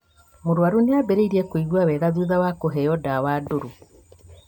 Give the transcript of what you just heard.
Mũrwaru nĩambĩrĩirie kũigua wega thutha wa kũheo ndawa ndũrũ